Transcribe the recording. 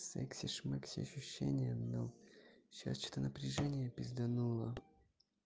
секси шмекси ощущения но сейчас что-то напряжение пиздануло